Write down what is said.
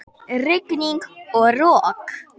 Rigning og rok!